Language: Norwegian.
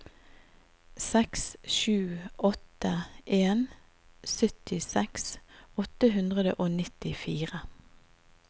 seks sju åtte en syttiseks åtte hundre og nittifire